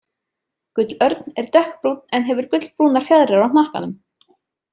Gullörn er dökkbrúnn en hefur gullbrúnar fjaðrir á hnakkanum.